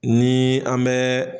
Ni an bɛ